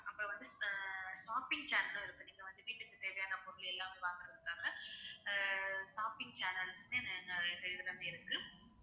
அப்பறம் வந்து ஆஹ் shopping channel உம் இருக்கு நீங்க வந்து வீட்டுக்கு தேவையான பொருள் எல்லாமே வாங்குறதுக்காக அஹ் shopping channels னு இருக்கு